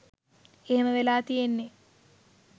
එහෙම වෙලා තියෙන්නෙ